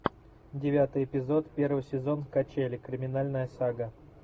девятый эпизод первый сезон качели криминальная сага